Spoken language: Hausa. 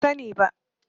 Ban sani ba.